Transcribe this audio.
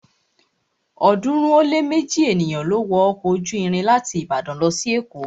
ọ̀ọ́dúnrún ó lé méji ènìyàn ló wọ ọkọ̀ ojú irin láti Ìbàdàn lọ sí èkó